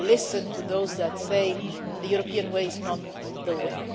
You have to listen to those who say the European way is not the way'.